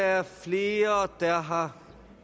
er flere der har